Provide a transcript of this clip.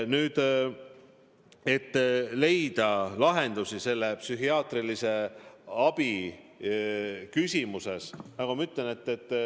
Nüüd sellest, et on vaja leida lahendusi psühhiaatrilise abi küsimuses.